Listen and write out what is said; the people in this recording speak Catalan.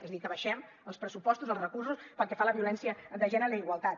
és a dir que abaixem els pressupostos els recursos pel que fa a la violència de gènere i la igualtat